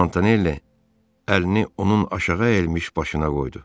Montanelli əlini onun aşağı əyilmiş başına qoydu.